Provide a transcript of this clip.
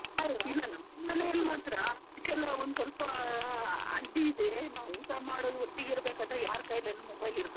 ಇಲ್ಲ, ನಮ್ ನಮೇಲಿ ಮಾತ್ರ ಅದ್ಕೆಲ್ಲಾ ಒಂದು ಸ್ವಲ್ಪ ಅಡ್ಡಿ ಇದೆ ನಾವ್ ಊಟ ಮಾಡೋದು ಒಟ್ಟಿಗೆ ಇರ್ಬೇಕಾದ್ರೆ ಯಾರ್ ಕೈಲೂ ಏನ್ mobile ಇರ್ಬಾರ್ದು ಅಂತ.